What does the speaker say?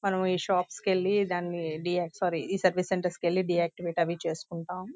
మనం ఈ షాప్స్ కీ వెళ్ళి దాని డియాక్టీవ్ట్ సారీ ఈ సర్వీస్ సెంటర్ కి వెళ్లి డియాక్టీవ్ట్ అవి చేసుకుంటాం .